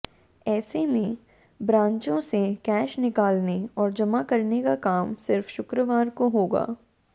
ऐसे में ब्रांचों से कैश निकालने और जमा करने का काम सिर्फ शुक्रवार को होगा